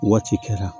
Waati kɛra